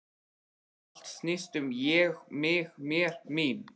Allt snýst um Ég, mig, mér, mín.